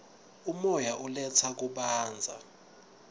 umoya uletsa kubanza